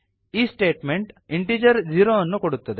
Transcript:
ಈ statement integer zero ಅನ್ನು ಕೊಡುತ್ತದೆ